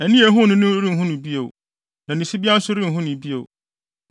Ani a ehuu no no renhu no bio; na ne sibea nso renhu no bio.